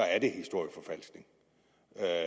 er